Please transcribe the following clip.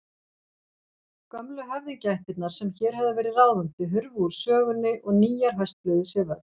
Gömlu höfðingjaættirnar sem hér höfðu verið ráðandi hurfu úr sögunni og nýjar hösluðu sér völl.